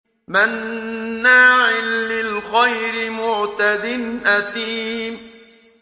مَّنَّاعٍ لِّلْخَيْرِ مُعْتَدٍ أَثِيمٍ